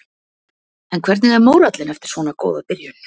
En hvernig er mórallinn eftir svona góða byrjun?